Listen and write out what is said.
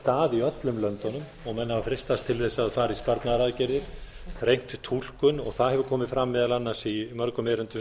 að í öllum löndunum og menn hafa freistast til þess að fara í sparnaðaraðgerðir þrengt túlkun og það hefur komið fram meðal annars í mörgum erindum sem